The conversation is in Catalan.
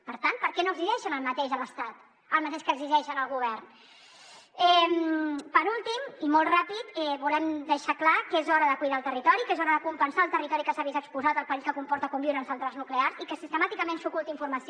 per tant per què no exigeixen a l’estat el mateix que exigeixen al govern per últim i molt ràpid volem deixar clar que és hora de cuidar el territori que és hora de compensar el territori que s’ha vist exposat al perill que comporta conviure amb centrals nuclears i que sistemàticament s’oculta informació